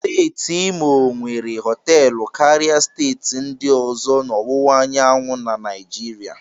Steeti Imo nwere họtelụ karịa steeti ndị ọzọ na ọwụwa anyanwụ na Naijiria